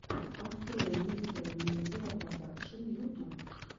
открой мистера медиа продакшн ютуб